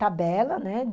Tabela, né?